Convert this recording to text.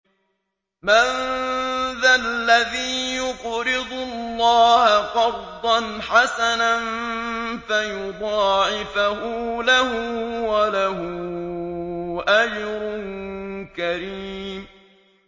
مَّن ذَا الَّذِي يُقْرِضُ اللَّهَ قَرْضًا حَسَنًا فَيُضَاعِفَهُ لَهُ وَلَهُ أَجْرٌ كَرِيمٌ